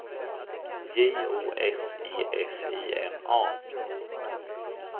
J O S E F I N A